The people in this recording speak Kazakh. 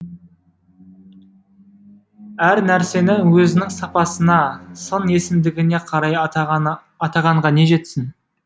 әр нәрсені өзінің сапасына сын есімдігіне қарай атағанға не жетсін